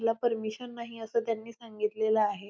ला परमिशन नाही असे त्यांनी सांगितलेल आहे.